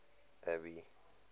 abby